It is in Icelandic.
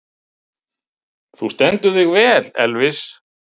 Þú stendur þig vel, Elvis!